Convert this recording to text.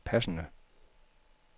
passende